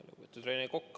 Lugupeetud Rene Kokk!